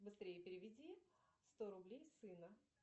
быстрее переведи сто рублей сына